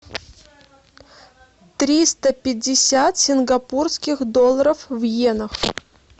триста пятьдесят сингапурских долларов в йенах